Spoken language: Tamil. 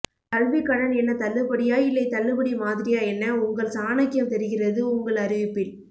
கல்விக் கடன் என்ன தள்ளுபடியா இல்லை தள்ளுபடி மாதிரியா என்ன உங்கள் சாணக்கியம் தெரிகிறது உங்கள் அறிவிப்பில்